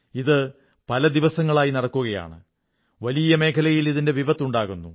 ഇത് പല ദിവസങ്ങളായി നടക്കുകയാണ് വലിയ മേഖലയിൽ ഇതിന്റെ വിപത്ത് ഉണ്ടാകുന്നു